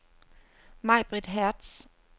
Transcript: Majbrit Hertz